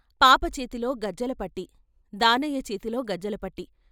పాప చేతిలో గజ్జెలపట్టీ, దానయ్య చేతిలో గజ్జెలపట్టీ.